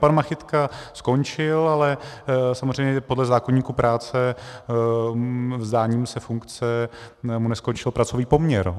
Pan Machytka skončil, ale samozřejmě podle zákoníku práce vzdáním se funkce mu neskončil pracovní poměr.